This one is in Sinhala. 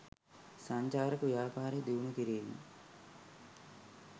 සංචාරක ව්‍යාපාරය දියුණු කිරීම